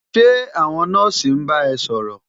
Ṣé àwọn nọ́ọ̀sì ń bá ẹ ṣòrọ̀?